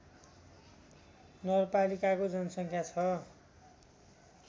नगरपालिकाको जनसङ्ख्या छ